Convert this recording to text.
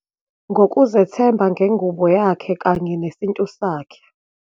Ngokuzethemba ngengubo yakhe kanye nesintu sakhe.